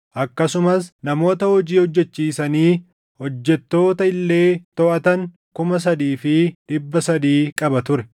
akkasumas namoota hojii hojjechiisanii hojjettoota illee toʼatan kuma sadii fi dhibba sadii qaba ture.